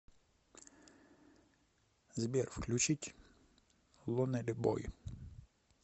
сбер включить лонли бой